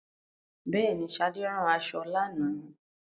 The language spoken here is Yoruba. Bẹẹni, Sade rán aṣọ lánàá